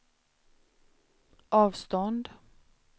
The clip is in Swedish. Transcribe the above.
avstånd